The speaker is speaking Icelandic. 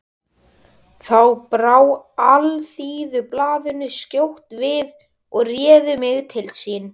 Þá brá Alþýðublaðið skjótt við og réð mig til sín.